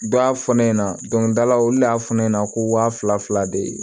Dɔ y'a fɔ ne ɲɛna dɔnkili dala olu de y'a fɔ ne ɲɛna ko waa fila fila de